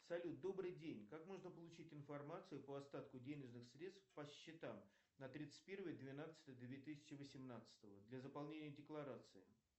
салют добрый день как можно получить информацию по остатку денежных средств по счетам на тридцать первое двенадцатое две тысячи восемнадцатого для заполнения декларации